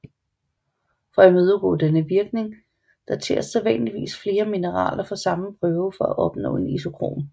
For at imødegå denne virkning dateres sædvanligvis flere mineraler fra samme prøve for at opnå en isokron